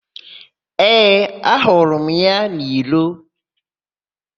Ee, ahụrụ m ya n'iro.